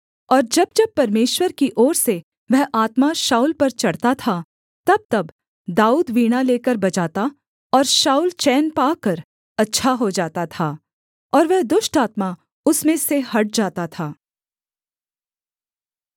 और जब जब परमेश्वर की ओर से वह आत्मा शाऊल पर चढ़ता था तबतब दाऊद वीणा लेकर बजाता और शाऊल चैन पाकर अच्छा हो जाता था और वह दुष्ट आत्मा उसमें से हट जाता था